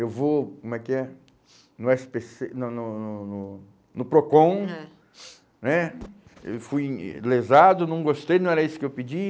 Eu vou, como é que é? No esse pe cê, no no no no no Procon, ãh, né, eu fui lesado, não gostei, não era isso que eu pedi.